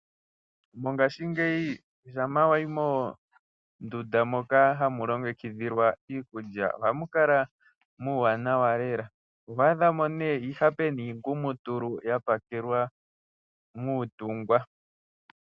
Mongashingeyi shampa wayi monduda moka hamu longekidhilwa iikulya oha mukala muuwanawa lela. Ohwaa dhamo nee iihape niingumutulu ya pekelwa muutungwa.